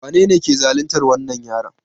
Wanene ke zaluntar wannan yaron?